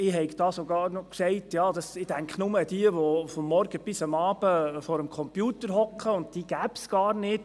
Ich würde bloss jene vor Augen haben, die von morgens bis abends bloss vor dem Computer sässen – und diese gebe es gar nicht.